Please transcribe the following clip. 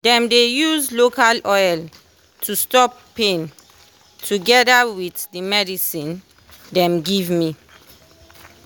dem dey use local oil to stop pain togeda with the medcine dem give me.